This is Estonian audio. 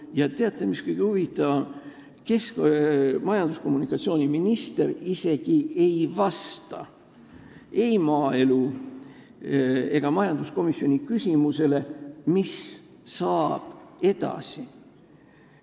Ja teate, mis kõige huvitavam: majandus- ja kommunikatsiooniminister isegi ei vasta ei maaelu- või majanduskomisjoni küsimusele, mis saab edasi.